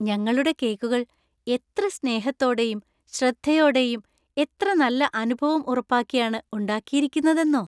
ഞങ്ങളുടെ കേക്കുകൾ എത്ര സ്‌നേഹത്തോടെയും ശ്രദ്ധയോടെയും എത്ര നല്ല അനുഭവം ഉറപ്പാക്കിയാണ് ഉണ്ടാക്കിയിരിക്കുന്നതെന്നോ!